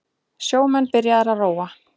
Sjómenn byrjaðir að róa